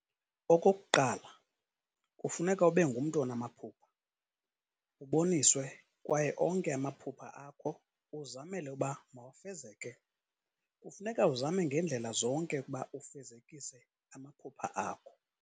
okokuqala kufuneka ube ngumntu onama phupha, uboniswe kwaye onke amaphupha akho uzamele uba mawafezeke, kufuneka uzame ngendlela zonke ukuba ufezekise amaphupha akho.